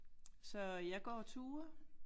Så jeg går ture